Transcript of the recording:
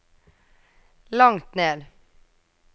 langt ned